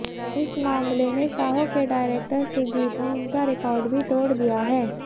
इस मामले में साहो के डायरेक्टर सुजीत ने उनका रिकॉर्ड भी तोड़ दिया है